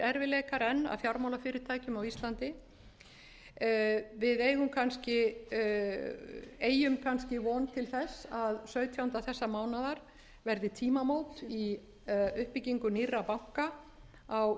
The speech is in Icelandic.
erfiðleikar enn að fjármálafyrirtækjum á íslandi við eygjum kannski von til þess að sautjánda þessa mánaðar verði tímamót í uppbyggingu nýrra banka á